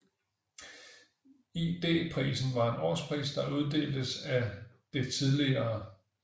ID Prisen var en årspris der uddeltes af det tidl